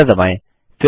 enter दबाएँ